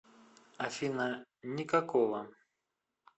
афина никакого